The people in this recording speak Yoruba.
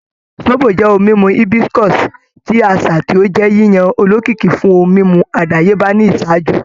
Zobo jẹ ohun mimu hibiscus ti aṣa ti o jẹ yiyan olokiki fun ohun mimu adayeba ni iṣaaju